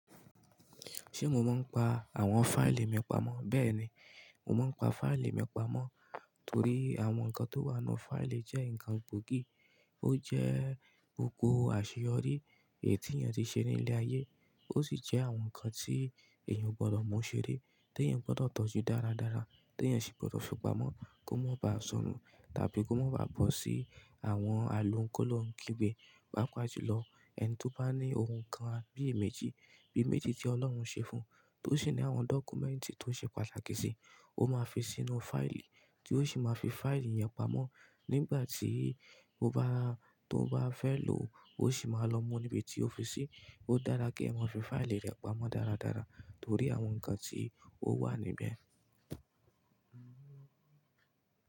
Ṣé mo máa ń pa àwọn fáìlì mi pamọ́? Bẹ́ẹ̀ni, mo máa ń pa fáìlì mi pamọ́ torí àwọn nǹkan tó wà nínú fáìlì jẹ́ ǹkan gbòógì. Ó jẹ́ gbogbo àṣeyọrí èyí tí ènìyàn ti ṣe ní ilẹ̀ ayé, ó sì jẹ́ àwọn nǹkan tí ènìyàn ò gbọ́dọ̀ mú ṣeré, tí ènìyàn gbọ́dọ̀ tọ́jú dáradára, tí ènìyàn sì gbọ́dọ̀ fi pamọ́ kó má ba sọnù, tàbí kó má ba bọ́ sí àwọn àlo ki'lóun kígbe. Pápá juló Ẹni tí ó bá ní ohun kan bí i méjì bí i méjì tí Ọlọ́run ṣe fún, tó sì ní àwọn dọ́kúmẹ́ǹtì tó ṣe pàtàkì sì, ó máa fi sínú fáìlì, tí ó sì máa fi fáìlì yẹn pamọ́. Nígbà tí ó bá, tó bá fẹ́ lò ó, ó sì máa lọ mú níbi tí ó fi sí. Ó dára kí ẹ máa fi fáìlì rẹ pamọ́ dáradára torí àwọn nǹkan tí ó wà níbẹ̀.